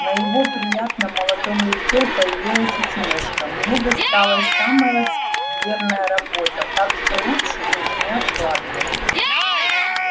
на его приятном молодом лице появилась усмешка мне досталась самая скверная работа так что лучше уж не откладывать